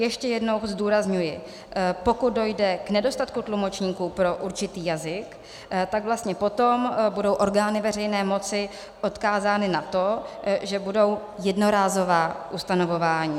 Ještě jednou zdůrazňuji, pokud dojde k nedostatku tlumočníků pro určitý jazyk, tak vlastně potom budou orgány veřejné moci odkázány na to, že budou jednorázová ustanovování.